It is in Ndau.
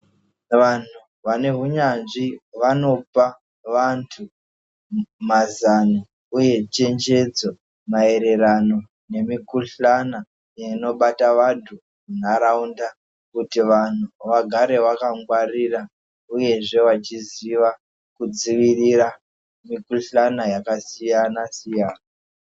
Vantu vane hunyanzvi vanopa vantu mazano uye chenjedzo maererano nemikuhlana inobata vantu muntaraunda kuti vantu vagare vakangwarira uyezve vachiziva kudzivirira mikuhlana yakasiyana siyana.